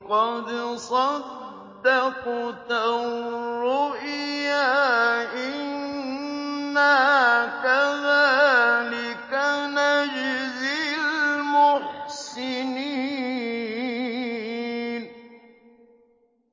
قَدْ صَدَّقْتَ الرُّؤْيَا ۚ إِنَّا كَذَٰلِكَ نَجْزِي الْمُحْسِنِينَ